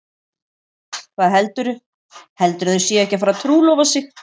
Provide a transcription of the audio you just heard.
Hvað heldurðu. heldurðu að þau séu ekki að fara að trúlofa sig!